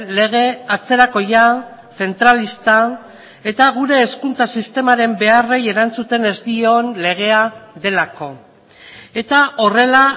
lege atzerakoia zentralista eta gure hezkuntza sistemaren beharrei erantzuten ez dion legea delako eta horrela